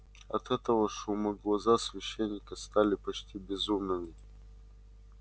от этого шума глаза священника стали почти безумными